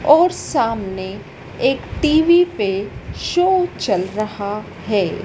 और सामने एक टी_वी पे शो चल रहा है।